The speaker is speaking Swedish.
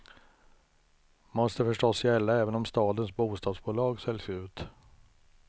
Måste förstås gälla även om stadens bostadsbolag säljs ut.